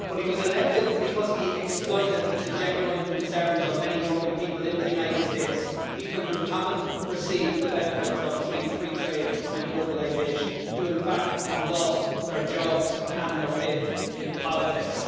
But he was elected because he exploited the genuine concerns of many working people in the United States people who haven't received the benefits of free trade and globalisation, who in fact have lost their jobs and their faith in politics.